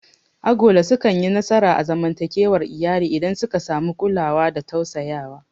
Agola sukanyi nasara a zamantakewar iyali idan suka samu kulawa da tausayawa.